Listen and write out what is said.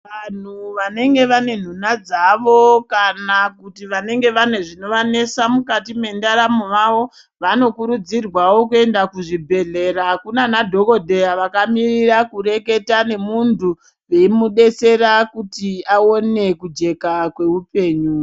Vanhu vanenge vane nhunha dzavo, kana kuti vanenge vane zvinovanesa mukati mendaramo mavo, vanokurudzirwawo kuenda kuzvibhedhlera kuna anadhokodheya vakamirira kureketa nemuntu, veimudetsera kuti aone kujeka kweupenyu.